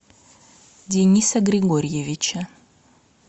дениса григорьевича